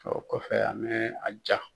O kɔfɛ an bɛ a ja.